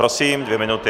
Prosím, dvě minuty.